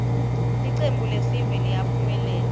ltcembuiesive liyaphumelela